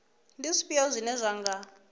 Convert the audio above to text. ndi zwifhio zwine zwa nga